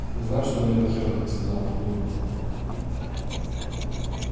знаешь что мне этот хер тогда сказал в клубе